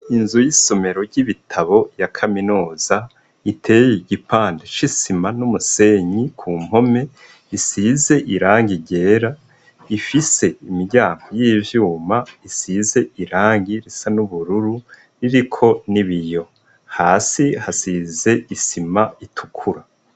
Inzu yisomero ryibitabu ya kaminuza iteye igipande cisima numusenyi ku mpome , isize irangi ryera ifise imiryango yivyuma isize irangi risa nubururu iriko nibiyo , hasi hasize isima itukura.